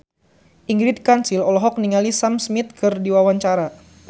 Ingrid Kansil olohok ningali Sam Smith keur diwawancara